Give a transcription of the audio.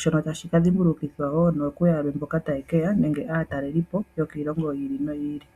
shono tashi ka dhimbulukithwa woo nokuyalwe mboka taye keya nokaatalelipo yokiilongo yii li noyii li.